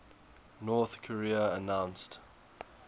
north korea announced